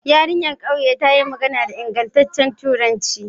Yarinyar ƙauyen ta yi magana da ingantaccen turanci.